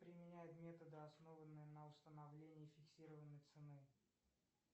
применяют методы основанные на установлении фиксированной цены